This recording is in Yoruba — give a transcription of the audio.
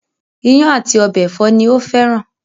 Ìyàn àti ọbẹ̀ ẹ̀fọ́ ni ó fẹ́ran